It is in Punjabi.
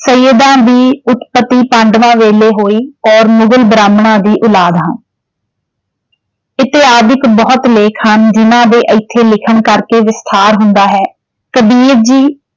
ਸੱਯਦਾਂ ਦੀ ਉਤਪਤੀ ਪਾਡਵਾਂ ਵੇਲੇ ਹੋਈ ਔਰ ਮੁਗਲ ਬ੍ਰਾਹਮਣਾਂ ਦੀ ਉਲਾਦ ਹਾਂ, ਬਹੁਤ ਲੇਖ ਹਨ ਜਿੰਨ੍ਹਾਂ ਦੇ ਏਥੇ ਲਿਖਣ ਕਰਕੇ ਵਿਸਥਾਰ ਹੁੰਦਾ ਹੈ। ਕਬੀਰ ਜੀ